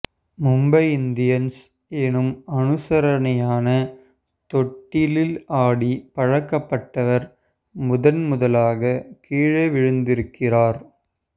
Mumbai Indians எனும் அனுசரணையான தொட்டிலில் ஆடி பழக்கப்பட்டவர் முதன் முதலாக கீழே விழுந்திருக்கிறார்